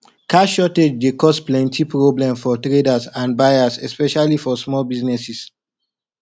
cash shortage dey cause plenty problem for traders and buyers especially for small businesses